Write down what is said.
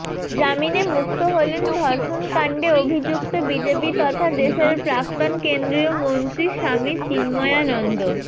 জামিনে মুক্ত হলেন ধর্ষণকাণ্ডে অভিযুক্ত বিজেপি তথা দেশের প্রাক্তন কেন্দ্রীয় মন্ত্রী স্বামী চিন্ময়ানন্দ